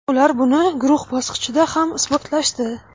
ular buni guruh bosqichida ham isbotlashdi.